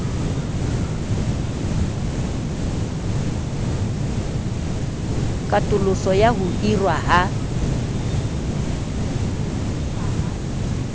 katoloso ya ho hirwa ha